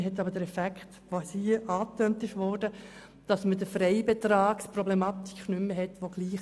Man hat aber den bereits hier angetönten Effekt, dass man die die gleichwohl relevante Problematik des Freibetrags nicht mehr hat.